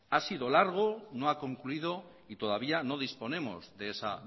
ha sido largo no ha concluido y todavía no disponemos